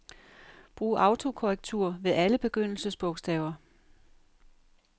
Brug autokorrektur ved alle begyndelsesbogstaver.